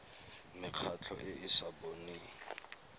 mekgatlho e e sa boneng